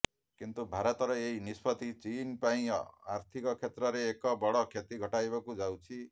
କିନ୍ତୁ ଭାରତର ଏହି ନିଷ୍ପତ୍ତି ଚୀନ୍ ପାଇଁ ଆର୍ଥିକ କ୍ଷେତ୍ରରେ ଏକ ବଡ଼ କ୍ଷତି ଘଟାଇବାକୁ ଯାଉଛି